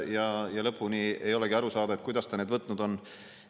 Lõpuni ei olegi aru saada, kuidas ta need võtnud on.